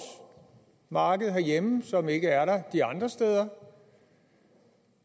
marked herhjemme som der ikke er de andre steder